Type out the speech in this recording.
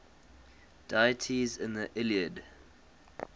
deities in the iliad